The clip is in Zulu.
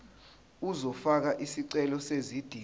uzofaka isicelo sezidingo